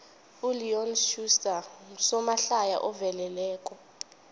uleon schuster ngusomahlaya oveleleko